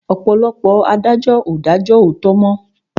Ọ̀pọ̀lọpọ̀ adájọ́ ò dájó òòtó mọ́.